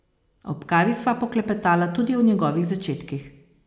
Ob kavi sva poklepetala tudi o njegovih začetkih.